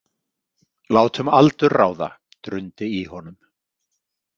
Látum aldur ráða, drundi í honum.